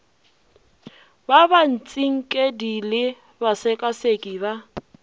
ba batsinkedi le basekaseki ba